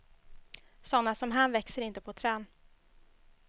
Såna som han växer inte på trän.